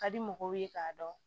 Ka di mɔgɔw ye k'a dɔn